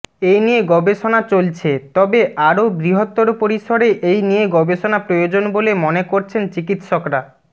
এনিয়ে গবেষণা চলছে তবে আরও বৃহত্তর পরিসরে এই নিয়ে গবেষণা প্রয়োজন বলে মনে করছেন চিকিৎসকরা